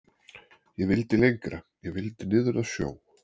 Ég vildi lengra. ég vildi niður að sjó.